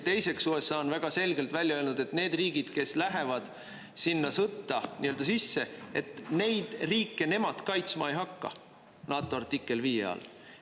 Teiseks, USA on väga selgelt välja öelnud, et need riigid, kes lähevad sinna sõtta nii-öelda sisse, et neid riike nemad kaitsma ei hakka NATO artikkel 5 all.